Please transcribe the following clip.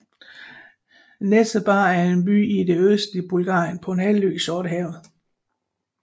Nessebar er en by i det østlige Bulgarien på en halvø i Sortehavet